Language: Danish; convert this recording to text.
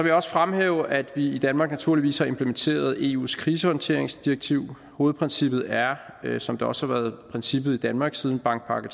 jeg også fremhæve at vi i danmark naturligvis har implementeret eus krisehåndteringsdirektiv hovedprincippet er som det også har været princippet i danmark siden bankpakke